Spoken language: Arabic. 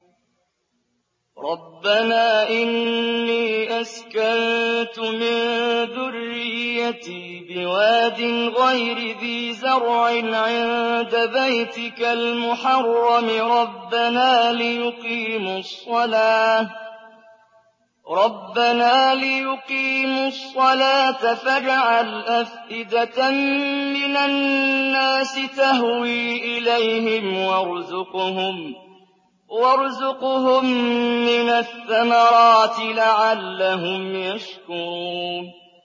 رَّبَّنَا إِنِّي أَسْكَنتُ مِن ذُرِّيَّتِي بِوَادٍ غَيْرِ ذِي زَرْعٍ عِندَ بَيْتِكَ الْمُحَرَّمِ رَبَّنَا لِيُقِيمُوا الصَّلَاةَ فَاجْعَلْ أَفْئِدَةً مِّنَ النَّاسِ تَهْوِي إِلَيْهِمْ وَارْزُقْهُم مِّنَ الثَّمَرَاتِ لَعَلَّهُمْ يَشْكُرُونَ